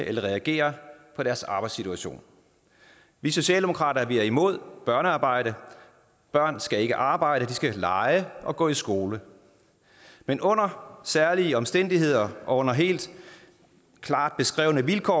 eller reagere på deres arbejdssituation vi socialdemokrater er imod børnearbejde børn skal ikke arbejde de skal lege og gå i skole men under særlige omstændigheder og under helt klart beskrevne vilkår